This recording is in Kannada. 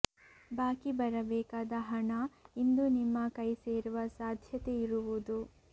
ಬಾಕಿ ಬರಬೇಕಾದ ಹಣ ಇಂದು ನಿಮ್ಮ ಕೈ ಸೇರುವ ಸಾಧ್ಯತೆ ಇರುವುದು